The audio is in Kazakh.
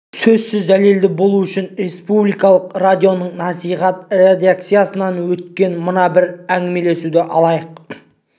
сөзіміз дәлелді болу үшін республикалық радионың насихат редакциясынан өткен мына бір әңгімелесуді алайық